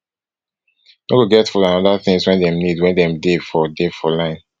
no go get food and oda tins wey dem need wen dem dey for dey for line